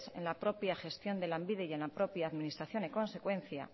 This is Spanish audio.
en la propia gestión de lanbide y en la propia administración en consecuencia